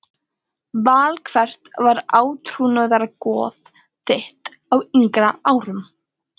Val Hvert var átrúnaðargoð þitt á yngri árum?